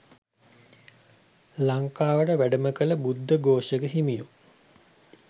ලංකාවට වැඩම කළ බුද්ධ ඝෝෂ හිමියෝ